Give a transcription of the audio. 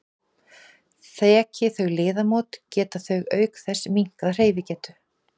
Þeki þau liðamót geta þau auk þess minnkað hreyfigetu.